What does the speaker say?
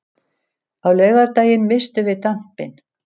Á laugardaginn misstum við dampinn.